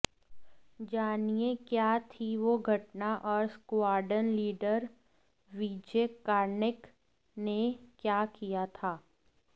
जानिए क्या थी वो घटना और स्क्वाड्रन लीडर विजय कार्णिक ने क्या किया था